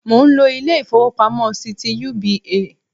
Mò n lo Ilé ìfowópamọ́ sí ti UBA